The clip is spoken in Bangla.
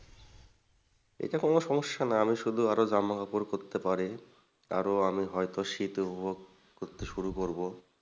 এটা কোন সমস্যা না আমি শুধু আরো জামা কাপড় পড়তে পারি আরো আমি হয়তো শীত উপভোগ করতে শুরু করব।